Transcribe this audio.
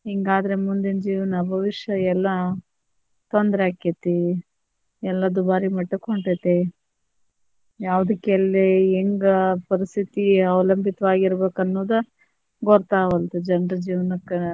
ಹಿಂಗಾದ್ರೆ ಮುಂದಿನ ಜೀವನ ಭವಿಷ್ಯ ಎಲ್ಲಾ ತೊಂದ್ರೆ ಆಕ್ಕೆತಿ ಎಲ್ಲಾ ದುಬಾರಿ ಮಟ್ಟಕ್ ಹೊಂಟೇತಿ ಯಾವದಕ್ ಎಲ್ಲಿ ಹೆಂಗ ಪರಿಸ್ಥಿತಿ ಅವಲಂಬಿತವಾಗಿರಬೇಕನ್ನೊದ ಗೊತ್ತಾಗವಲ್ದು ಜನರ ಜೀವನಕ್ಕ.